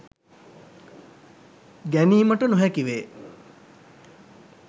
ගැනීමට නොහැකි වේ.